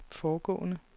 foregående